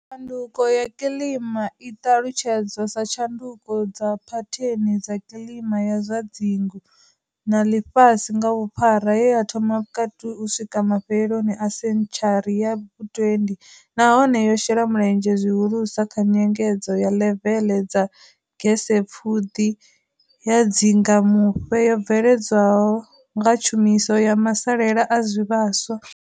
Tshanduko ya kiḽima i ṱalutshedzwa sa tshanduko dza phatheni dza kiḽima ya zwa dzingu na ḽifhasi nga vhuphara ye ya thoma vhukati u swika mafheloni a sentshari ya vhu 20 nahone yo shela mulenzhe zwi hulusa kha nyengedzo ya ḽeveḽe dza gesepfuḓi ya dzingamufhe yo bveledzwaho nga tshumiso ya masalela a zwi vhaswa.